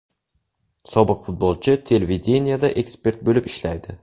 Sobiq futbolchi televideniyeda ekspert bo‘lib ishlaydi.